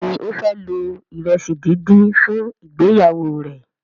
Béèni o fẹ lo iresi dín dín fún ìgbéyàwó rẹ.